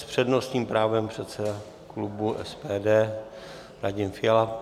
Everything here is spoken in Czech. S přednostním právem předseda klubu SPD Radim Fiala.